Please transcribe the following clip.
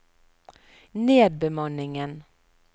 nedbemanningen